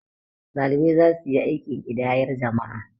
ɗalibai za su yi aikin ƙidayar jama'a